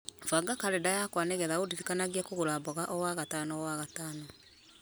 banga karenda yakwa nĩgetha ũndirikanie kũgũra mboga o wagatano o wagatano